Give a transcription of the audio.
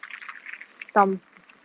там